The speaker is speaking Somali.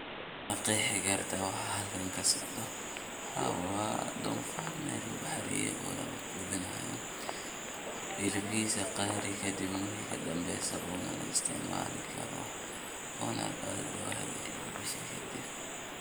Ma qeexi karta waxa xalkan kasocda, xaa wa donfar mel laguxareye o lagudinayo, xilibixasa qaar.